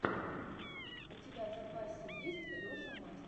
у тебя в запасе есть леша мастер